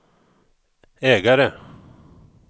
ägare